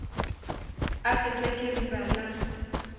a fetwa ke riba la